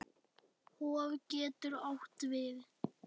Hof getur átt við